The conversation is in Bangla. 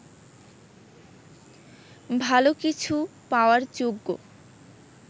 ভালো কিছু পাওয়ার যোগ্য